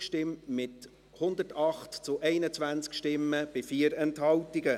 Sie haben der Planungserklärung 8 zugestimmt, mit 108 zu 21 Stimmen bei 4 Enthaltungen.